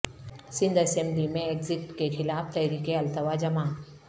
Sindh assembly میں ایگزیکٹ کے خلاف تحریک التوا جمع